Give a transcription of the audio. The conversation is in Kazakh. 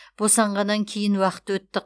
босанғаннан кейін уақыт өтті